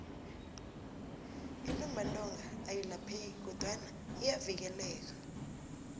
intumbantonga ayilapheki kodwana iyavikeleka